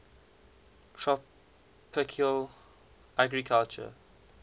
tropical agriculture